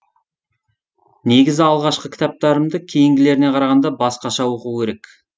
негізі алғашқы кітаптарымды кейінгілеріне қарағанда басқаша оқу керек